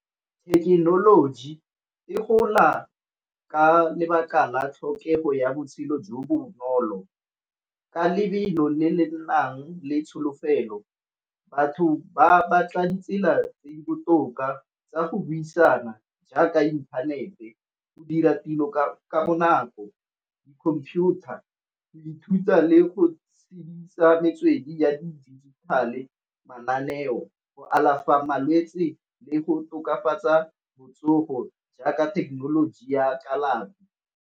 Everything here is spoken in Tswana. Thekenoloji e gola ka lebaka la tlhokego ya botshelo jo bonolo, ka lebelo le le nnang le tsholofelo. Batho ba batla ditsela tse di botoka tsa go buisana jaaka inthanete, go dira tiro ka bonako, di-computer, go ithuta le go tshedisa metswedi ya di-digital-e, mananeo, go alafa malwetsi le go tokafatsa botsogo jaaka thekenoloji ya a kalafi.